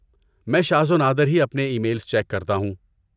میں شاذ و نادر ہی اپنے ای میلز چیک کرتا ہوں۔